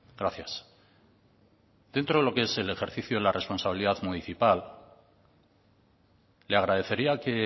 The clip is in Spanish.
gracias dentro de lo que es el ejercicio de la responsabilidad municipal le agradecería que